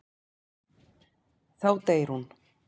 Þá deyr hún.